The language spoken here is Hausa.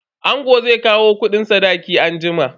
Angon zai kawo kudin sadakin anjima.